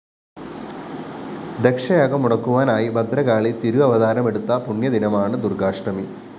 ദക്ഷയാഗം മുടക്കുവാനായി ഭദ്രകാളി തിരുവവതാരമെടുത്ത പുണ്യ ദിനമാണ് ദുര്‍ഗ്ഗാഷ്ടമി